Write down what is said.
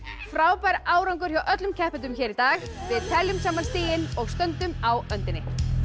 frábær árangur hjá öllum keppendum í dag við teljum saman stigin og stöndum á öndinni